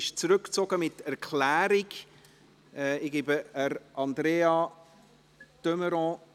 Dieses wird mit Erklärung zurückgezogen.